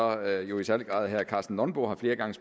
at jo i særlig grad herre karsten nonbo flere gange